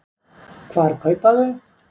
Hvar kaupa þau?